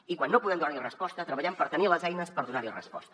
i quan no podem donar hi resposta treballem per tenir les eines per donar hi resposta